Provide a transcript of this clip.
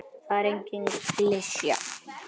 Það er engin klisja.